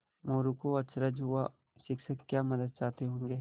मोरू को अचरज हुआ शिक्षक क्या मदद चाहते होंगे